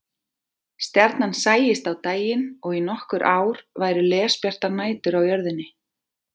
Stjarnan sæist á daginn og í nokkur ár væru lesbjartar nætur á jörðinni.